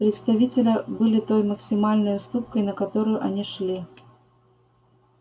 представителя были той максимальной уступкой на которую они шли